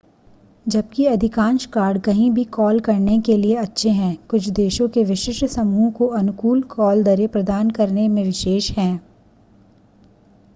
जबकि अधिकांश कार्ड कहीं भी कॉल करने के लिए अच्छे हैं कुछ देशों के विशिष्ट समूहों को अनुकूल कॉल दरें प्रदान करने में विशेष हैं